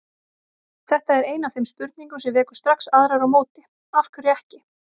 Þetta er ein af þeim spurningum sem vekur strax aðrar á móti: Af hverju ekki?